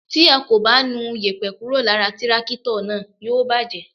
Tí a kò bá nu yèpẹ̀ kúrò lára tírákítọ̀ náà, yóò bàjẹ́.